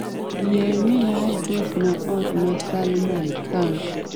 yie miya adres ma ot ma salman khan